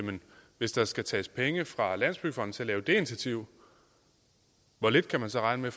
hvis der skal tages penge fra landsbyggefonden til at lave det initiativ hvor lidt kan man så regne